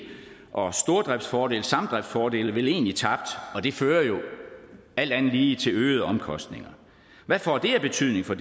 og stordriftsfordele samdriftsfordele vel egentlig tabt og det fører jo alt andet lige til øgede omkostninger hvad får det af betydning for